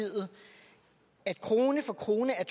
ja krone for krone er